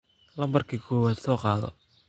Nambarki kowad sokadho.